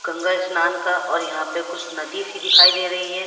गंगा स्नान का और यहाँ पे कुछ नदी सी दिखाई दे रही है।